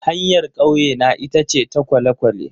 Hanyar kauyena ita ce ta kwale-kwale.